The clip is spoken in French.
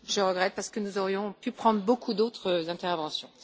Je le regrette parce que nous aurions pu prendre beaucoup d'autres interventions.